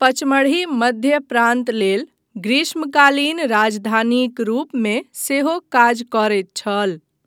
पचमढ़ी मध्य प्रान्त लेल ग्रीष्मकालीन राजधानीक रूपमे सेहो काज करैत छल।